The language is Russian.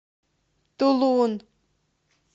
тулун